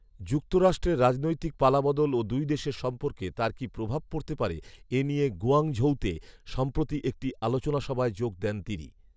যুক্তরাষ্ট্রের রাজনৈতিক পালবাদল ও দুই দেশের সম্পর্কে তার কী প্রভাব পড়তে পারে; এ নিয়ে গুয়াংঝৌতে সম্প্রতি একটি আলোচনাসভায় যোগ দেন তিনি